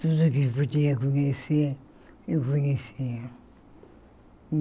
Tudo que eu podia conhecer, eu conhecia.